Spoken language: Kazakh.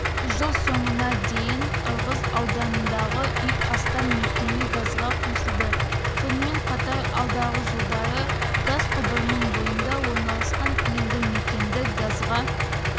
жыл соңына дейін ырғыз ауданындағы үй астам мекеме газға қосылады сонымен қатар алдағы жылдары газ құбырының бойында орналасқан елді мекенді газға